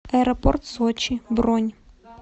аэропорт сочи бронь